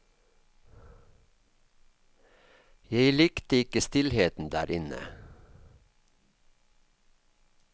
Jeg likte ikke stillheten der inne.